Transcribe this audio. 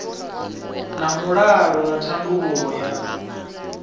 na mulalo na thandululo ya